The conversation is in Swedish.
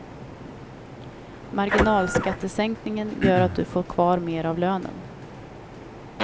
Marginalskattesänkningen gör att du får kvar mer av lönen.